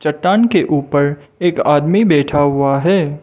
चट्टान के ऊपर एक आदमी बैठा हुआ है।